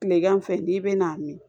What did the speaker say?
Tilegan fɛ n'i bɛna min